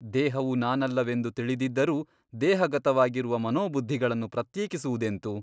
ದೇಹವು ನಾನಲ್ಲವೆಂದು ತಿಳಿದಿದ್ದರೂ ದೇಹಗತವಾಗಿರುವ ಮನೋಬುದ್ಧಿಗಳನ್ನು ಪ್ರತ್ಯೇಕಿಸುವುದೆಂತು?